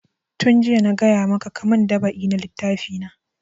Tun jiya na gaya maka ka mun dab'i na littafi na!